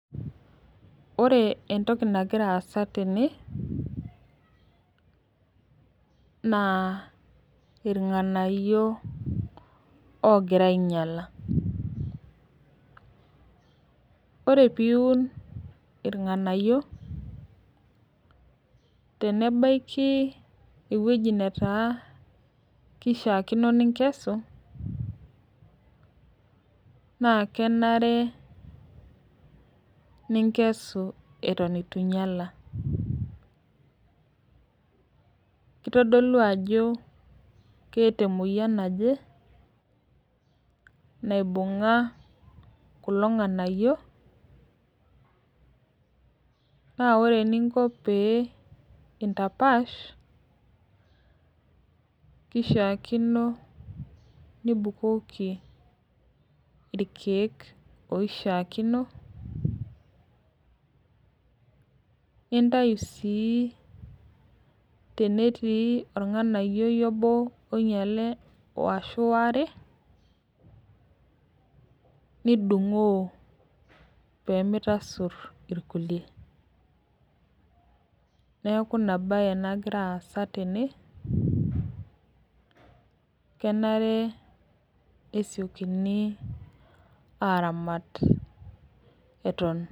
Ore entoki nagira aasa tene, naa irng'anayio ogira ainyala. Ore piun irng'anayio, tenebaiki ewueji netaa kishaakino ninkesu, naa kenare ninkesu eton itu inyala. Kitodolu ajo keeta emoyian naje, naibung'a kulo ng'anayio, na ore eninko pee intapaash, kishaakino nibukoki irkeek oishaakino, nintayu si tenetii orng'anayioi obo oinyale ashu waare, nidung'oo pemitasur irkulie. Neeku inabae nagira aasa tene, kenare esiokini aramat eton